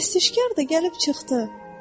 Pərəstişkar da gəlib çıxdı!